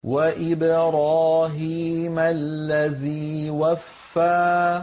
وَإِبْرَاهِيمَ الَّذِي وَفَّىٰ